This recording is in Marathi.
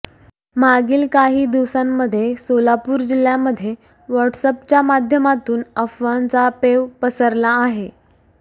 मागील काही दिवसांमध्ये सोलापूर जिल्ह्यामध्ये व्हॉट्सअॅपच्या माध्यमातून अफवांचा पेव पसरला आहे